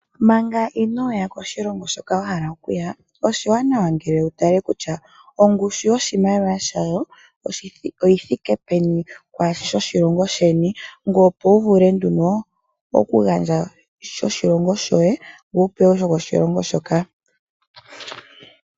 Manga inooya koshilongo hoka wa hala okuya oshiwanawa wu tale ongushu yoshimaliwa shawo kutya oyi thike peni kwaashi shoshilongo sheni. Shika ohashi etitha, opo wu vule okupingakanitha oshimaliwa shoshilongo sheni noshimaliwa shoshilongo shoka.